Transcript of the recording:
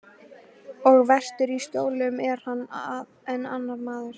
Og vestur í Skjólum er hann enn annar maður.